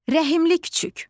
Rəhimli küçüк.